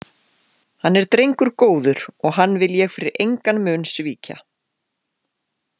Hann er drengur góður og hann vil ég fyrir engan mun svíkja.